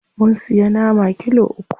Mun siya nama kilo uku.